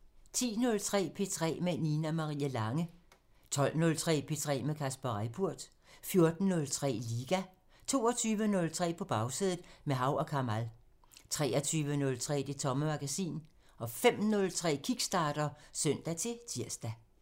10:03: P3 med Nina Marie Lange 12:03: P3 med Kasper Reippurt 14:03: Liga 22:03: På Bagsædet – med Hav & Kamal 23:03: Det Tomme Magasin 05:03: Kickstarter (søn-tir)